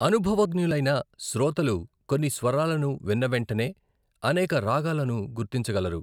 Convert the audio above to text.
అనుభవజ్ఞులైన శ్రోతలు కొన్ని స్వరాలను విన్న వెంటనే అనేక రాగాలను గుర్తించగలరు.